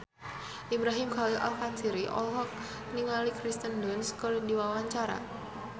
Ibrahim Khalil Alkatiri olohok ningali Kirsten Dunst keur diwawancara